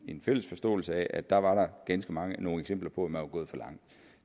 en fælles forståelse af at der var ganske mange eksempler på at man var gået for langt